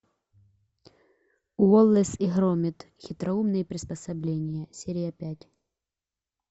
уоллес и громит хитроумные приспособления серия пять